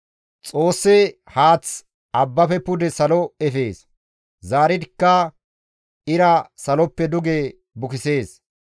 «Xoossi haaththa abbafe pude salo efees; zaaridikka ira saloppe duge bukisees.